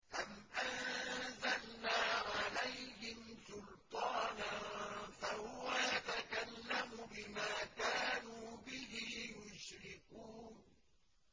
أَمْ أَنزَلْنَا عَلَيْهِمْ سُلْطَانًا فَهُوَ يَتَكَلَّمُ بِمَا كَانُوا بِهِ يُشْرِكُونَ